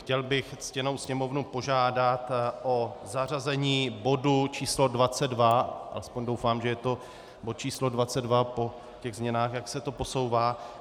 Chtěl bych ctěnou Sněmovnu požádat o zařazení bodu číslo 22, aspoň doufám, že je to bod číslo 22, po těch změnách, jak se to posouvá.